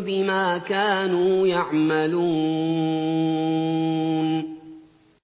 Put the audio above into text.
بِمَا كَانُوا يَعْمَلُونَ